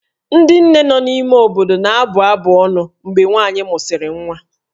Ndị nne nọ n'ime obodo na-abụ abụ ọnụ mgbe nwaanyị mụsịrị nwa